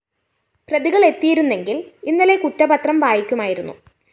പ്രതികളെത്തിയിരുന്നെങ്കില്‍ ഇന്നലെ കുറ്റപത്രം വായിക്കുമായിരുന്നു